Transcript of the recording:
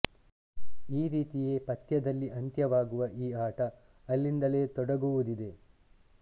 ಈ ರೀತಿಯೇ ಪಥ್ಯದಲ್ಲಿ ಅಂತ್ಯವಾಗುವ ಈ ಆಟ ಅಲ್ಲಿಂದಲೇ ತೊಡಗುವುದಿದೆ